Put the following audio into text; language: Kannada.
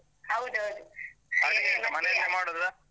ಹೌದೌದು .